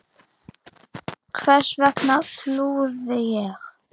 Hvers vegna flúði ég?